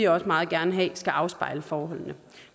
også meget gerne have at det skal afspejle forholdene